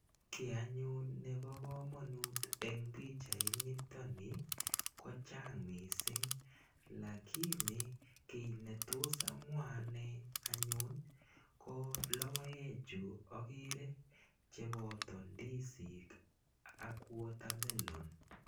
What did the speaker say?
Kit anyun nebo komonut eng pichait nitokni ko chang mising lakini kiy netos amwa ane anyun ko lokoek chu akere cheboto ndisik al watermelon.